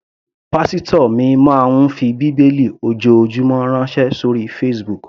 Pásítò mi máa ń fi bíbélì ojoojúmọ́ ránṣẹ́ sóri Facebook.